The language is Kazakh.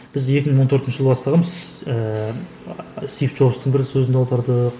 біз екі мың он төртінші жылы бастағанбыз ііі стив джобстің бір сөзін аудардық